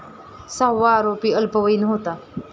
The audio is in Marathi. सहावा आरोपी अल्पवयीन होता.